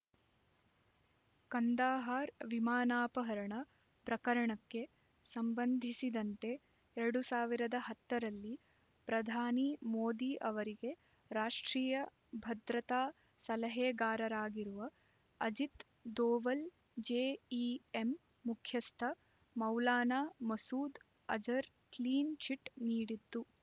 ಕಂದಹಾರ್ ವಿಮಾನಾಪಹರಣ ಪ್ರಕರಣಕ್ಕೆ ಸಂಬಂಧಿಸಿದಂತೆ ಎರಡ್ ಸಾವಿರದ ಹತ್ತ ರಲ್ಲಿ ಪ್ರಧಾನಿ ಮೋದಿ ಅವರಿಗೆ ರಾಷ್ಟ್ರೀಯ ಭದ್ರತಾ ಸಲಹೆಗಾರರಾಗಿರುವ ಅಜಿತ್ ದೋವಲ್ ಜೆಇಎಂ ಮುಖ್ಯಸ್ಥ ಮೌಲಾನಾ ಮಸೂದ್ ಅಜರ್ ಕ್ಲೀನ್ ಚಿಟ್ ನೀಡಿದ್ದು